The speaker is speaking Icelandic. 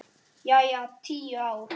Jæja, tíu ár.